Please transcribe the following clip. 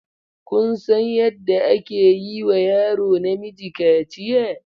Kun san yadda ake yi wa yaro namiji kaciya?